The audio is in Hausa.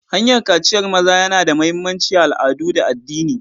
Hanyar kaciyar maza yana da mahimmanci a al'adu da addini.